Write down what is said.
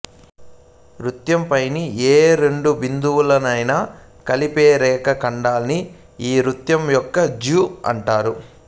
వృత్తం పైని ఏ రెండు బిందువులనైనా కలిపే రేఖా ఖండాన్ని ఆ వృత్తం యొక్క జ్యా అంటారు